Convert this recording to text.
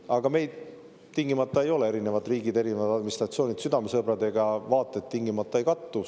Aga meile erinevad riigid, erinevad administratsioonid südamesõbrad ei ole, vaated tingimata ei kattu.